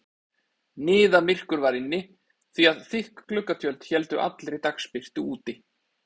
Niðamyrkur var inni því að þykk gluggatjöld héldu allri dagsbirtu úti.